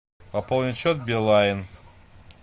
пополнить счет билайн